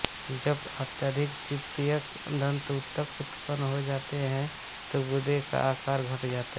जब अधिक तृतीयक दन्तऊतक उत्पन्न हो जाता है तो गूदे का आकार घट जाता है